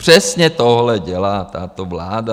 Přesně tohle dělá tato vláda.